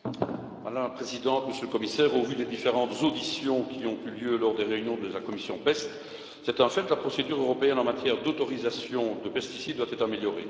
Madame la Présidente, Monsieur le Commissaire, au vu des différentes auditions qui ont eu lieu lors des réunions de la commission PEST, c'est un fait, la procédure européenne en matière d'autorisation des pesticides doit être améliorée.